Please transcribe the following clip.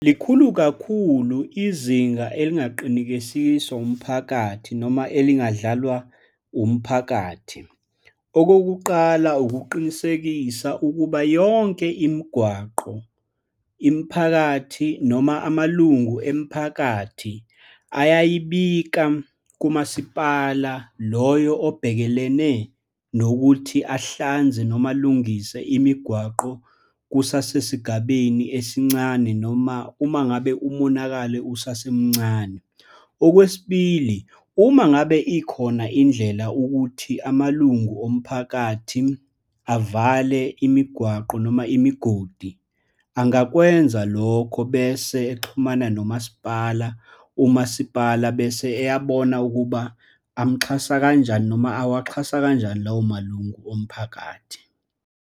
Likhulu kakhulu izinga elingaqinikesiswa umphakathi noma elingadlalwa umphakathi. Okokuqala, ukuqinisekisa ukuba yonke imigwaqo, imiphakathi, noma amalungu emiphakathi, ayayibika kumasipala loyo obhekelene nokuthi ahlanze, noma alungise imigwaqo kusasesigabeni esincane, noma uma ngabe umonakalo usasemncane. Okwesibili, uma ngabe ikhona indlela ukuthi amalungu omphakathi avale imigwaqo, noma imigodi, angakwenza lokho bese exhumana nomasipala, umasipala bese eyabona ukuba amxhasa kanjani, noma awaxhasa kanjani lawo malungu omphakathi.